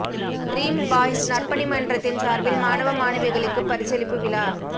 dream boys நற்பணி மன்றத்தின் சார்பில் மாணவ மாணவிகளுக்கு பரிசளிப்பு விழா